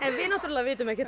við vitum ekkert